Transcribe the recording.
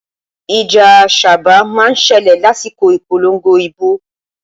Ìjà sáábà má ń ṣẹlẹ̀ lásìkò ìpolongo ibo